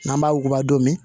N'an b'a wuguba dɔ min